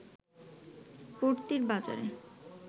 পড়তির বাজারে